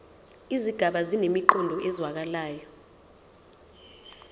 izigaba zinemiqondo ezwakalayo